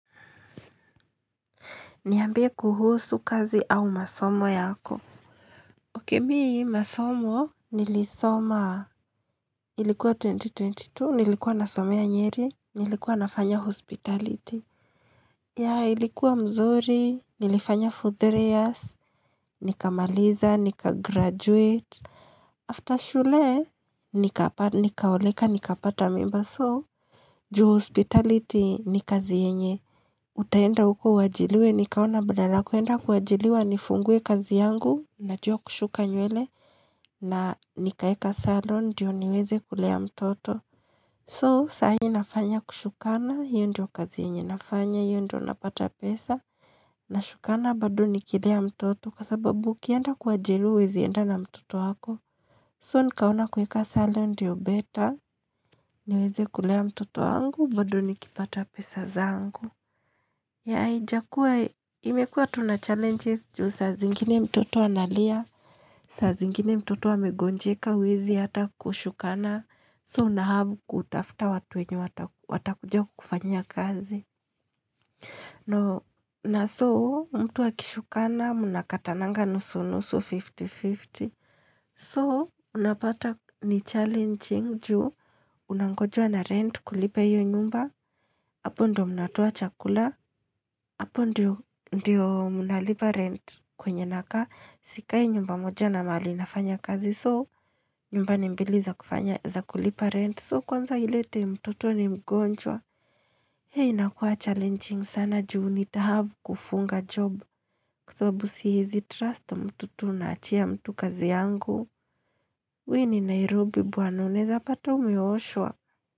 Niambie kuhusu kazi au masomo yako. Okey mi masomo nilisoma ilikuwa 2022, nilikuwa nasomea nyeri, nilikuwa nafanya hospitality. Ya ilikuwa mzuri, nilifanya for three years, nikamaliza, nikagraduate. After shule, nikaoleka, nikapata mimba so. Juu hospitality ni kazi yenye. Utaenda huko uajiriwe nikaona badala ya kuenda kuajiriwa nifungue kazi yangu Najua kushuka nywele na nikaeka salon ndio niweze kulea mtoto So sahi nafanya kushukana hiyo ndio kazi yenye nafanya hiyo ndio napata pesa Nashukana bado ni kilea mtoto kwa sababu ukienda kuajiriwa huwezi enda na mtoto wako So nikaona kueka salon ndio better niweze kulea mtoto wangu bado nikipata pesa zangu Yeah, haijakuwa imekuwa tu na challenges juu saa zingine mtoto analia, saa zingine mtoto amegonjeka huezi hata kushukana, soo unahave kutafuta watu wenye watakuja kufanya kazi. Na so mtu akishukana mnakatananga nusu nusu 50-50. Soo unapata ni challenging juu unangojwa na rent kulipa hiyo nyumba. Apo ndo mnatoa chakula. Apo ndio mnalipa rent kwenye nakaa sikai nyumba moja na mahali nafanya kazi. So nyumba ni mbili za kulipa rent. So kwanza ile time mtoto ni mgonjwa. Heh inakuwa challenging sana juu nitahave kufunga job kwasababu siezi trust mtu tu naachia mtu kazi yangu. Hii ni Nairobi bwana unaeza pata umeoshwa.